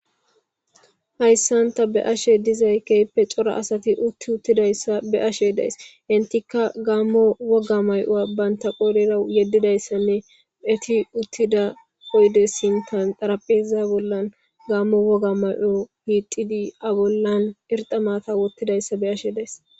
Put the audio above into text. hayssanta be ashe dizay keyppe cora asati utti uttidayssa be ashe days hintika gaammo woga may7o baynta qoolera yeddidayssanne eti uttida oyde sintan darapheza bollan gammo woga may7o hiixidi a bollan erxa maata wottidayssa be ashe days